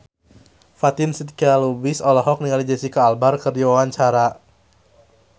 Fatin Shidqia Lubis olohok ningali Jesicca Alba keur diwawancara